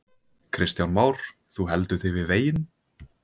Kristján Már: Þú heldur þig við veginn?